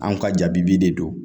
Anw ka jabibi de don